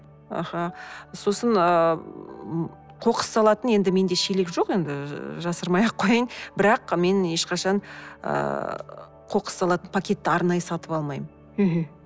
аха сосын ыыы қоқыс салатын енді менде шелек жоқ енді жасырмай ақ қояйын бірақ мен ешқашан ыыы қоқыс салатын пакетті арнайы сатып алмаймын мхм